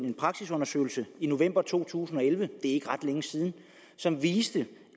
en praksisundersøgelse i november to tusind og elleve det er ikke ret længe siden som viste